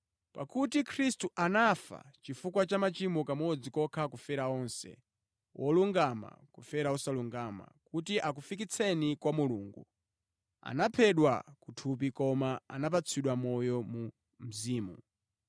Pakuti Khristu anafa chifukwa cha machimo kamodzi kokha kufera onse, wolungama kufera osalungama, kuti akufikitseni kwa Mulungu. Anaphedwa ku thupi koma anapatsidwa moyo mu mzimu.